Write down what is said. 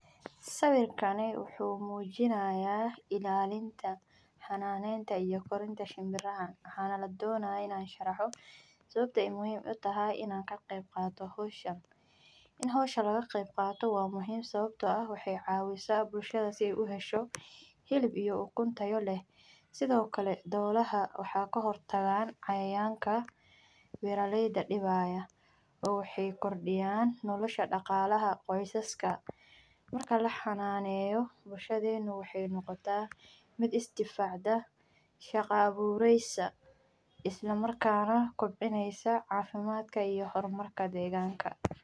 Sawirkani wuxuu mujinaya ilalinta xananeta iyo korinta shinbiraha waxana ladonaya in an sharafno sawabte muhiim u tahay in aa ka qeb qadano hoshan waa muhiim sawabto ah waxee cawisa bulshaada si ee u hesho hilib iyo ukun tayo leh sithokale dolaha waxaa ka hortagan cayayanka beera leyda waxee kordiyan nolosha daqalaha ee qoyska marka laxananeyo bulshaadena waxee noqota mid isdifacdo shaqo abureysa isla markas nah kobcineysa cafimaadka iyo hormarka deganka.